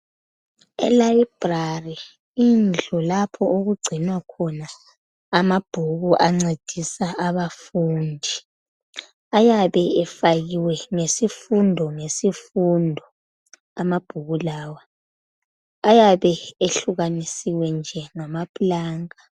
E"library",indlu lapho okugcinwa khona amabhuku ancedisa abafundi. Ayabe efakiwe ngesifundo ngesifundo amabhuku lawa. Ayabe ehlukanisiwe nje ngama pulanka.